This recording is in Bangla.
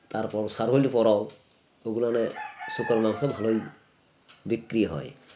তারপর সারহুল পরাও ওগুলানে শুকরের মাংস ভালোই বিক্রি হয়